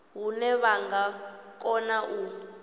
hune vha nga kona u